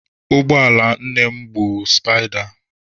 Ụgbọala nne mụ bụ sụpaịda.